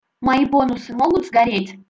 мои бонусы могут сгореть